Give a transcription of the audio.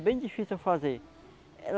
É bem difícil eu fazer.